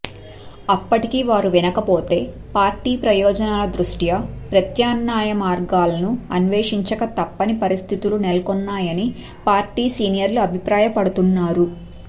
అప్పటికీ వారు వినకపోతే పార్టీ ప్రయోజనాల దృష్ట్యా ప్రత్యామ్నాయమార్గాలను అన్వేషించక తప్పని పరిస్థితులు నెలకొన్నాయని పార్టీ సీనియర్లు అభిప్రాయపడుతున్నారు